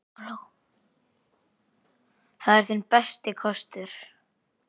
Það er þinn besti kostur.